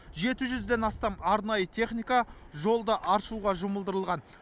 жеті жүзден астам арнайы техника жолды аршуға жұмылдырылған